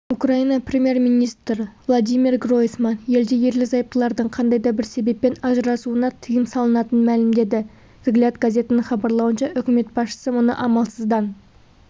украина премьер-министрі владимир гройсман елде ерлі-зайыптылардың қандай да бір себеппен ажырасуына тыйым салынатынын мәлімдеді взгляд газетінің хабарлауынша үкімет басшысы мұны амалсыздан